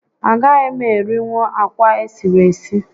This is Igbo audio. A gaghị m erinwu akwa esiri esi